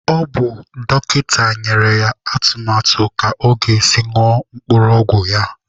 Ọ bụ dọkịta nyere ya atụmatụ ka ọ ga-esi ñụọ mkpụrụ ọgwụ ya